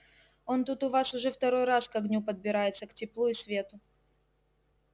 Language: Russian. он тут у вас уже второй раз к огню подбирается к теплу и свету